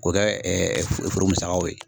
K'o kɛ foro musakaw ye